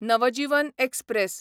Navjivan express